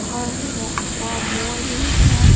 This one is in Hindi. और वो और मोर भी है।